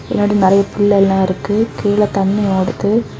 பின்னாடி நறைய பில்லெல்லா இருக்கு கீழ தண்ணி ஓடுது.